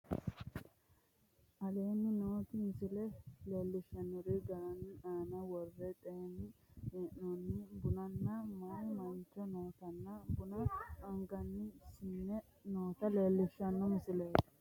Aleenni nooti tini misile leellishaankeri giirate aana worre xeensanni hee'noonni bunanna mayi mancho nootanna buna anganni siine noota leellishaanke misileeti